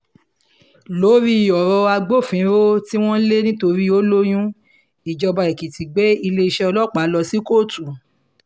lórí ọ̀rọ̀ agbófinró tí wọ́n le nítorí ó lóyún ìjọba èkìtì gbé iléeṣẹ́ ọlọ́pàá lọ sí kóòtù